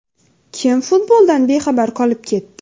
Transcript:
Kim futboldan bexabar qolib ketdi?